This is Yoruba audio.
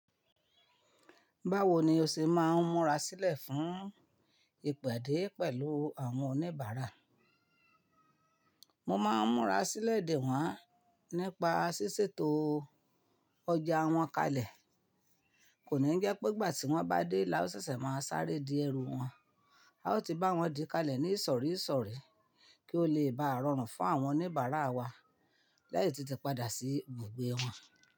Báwo ni o ṣe máa ń múra sílẹ̀ fún ìpàdè pẹ̀lú àwọn oníbàárà? Mo máa ń múra sílẹ̀ dè wọ́n nípa ṣíṣètò ọjà wọn kalẹ̀. Kò ní jẹ́ pé ìgbà tí wọ́n bá dé láó sísẹ̀ máa sáré di ẹrú wọn. A ó ti bá wọn di kalẹ̀ ní ìsọ̀rí ìsọ̀rí kí ó lè bá rọrùn fún àwọn oníbàárà wa láti tètè padà sí ibùgbé wọn.